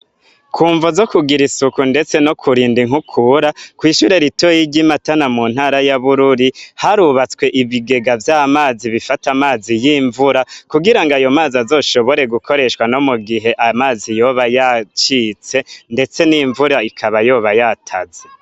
Kumvo zo kugira isuku ndetse no kurinda inkukura kw'ishuri ritoya ry'imatana mu ntara ya Bururi harubatswe ibigega vy'amazi bifata amazi y'imvura ku gira ayo mazi azoshobore gukoreshwa no mugihe amazi yoba yacitse ndetse n'imvura ikaba yoba yataze.